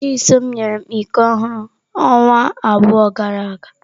Chisom nyere m iko ọhụrụ ọnwa abụọ gara aga.